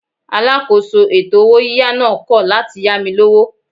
Alákòóso ètò owó yíyá náà kọ̀ láti yá mi lówó.